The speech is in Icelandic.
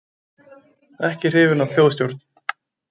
Ekki hrifin af þjóðstjórn